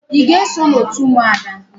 Ị ga-eso n'òtù ụmụada?